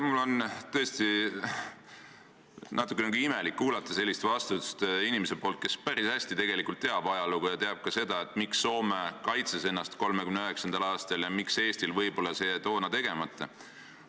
Mul on tõesti natukene imelik kuulata sellist vastust inimeselt, kes päris hästi teab ajalugu ja teab ka seda, miks Soome ennast 1939. aastal kaitses ja võib-olla miks Eestil see toona tegemata jäi.